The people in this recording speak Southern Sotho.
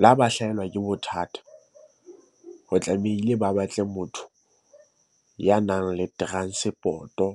Le ha ba hlahelwa ke bothata ho tlamehile ba batle motho ya nang le transport-o.